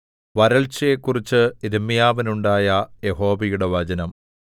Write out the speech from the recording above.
വരൾച്ചയെക്കുറിച്ച് യിരെമ്യാവിനുണ്ടായ യഹോവയുടെ വചനം